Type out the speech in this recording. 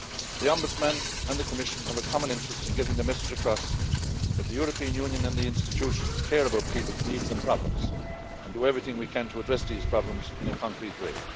The Ombudsman and the Commission have a common interest in getting the message across that the European Union and the institutions care about people's needs and problems and do everything we can to address these problems in a concrete way.